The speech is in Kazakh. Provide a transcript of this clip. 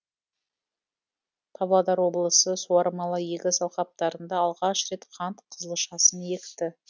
павлодар облысы суармалы егіс алқаптарында алғаш рет қант қызылшасын екті